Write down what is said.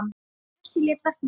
Bjössi lét verkin tala.